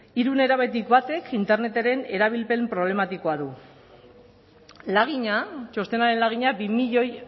hiru nerabetik batek interneten erabilpen problematikoa du lagina txostenaren lagina bi milioi